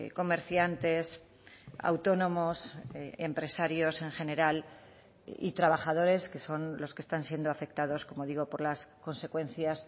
comerciantes autónomos empresarios en general y trabajadores que son los que están siendo afectados como digo por las consecuencias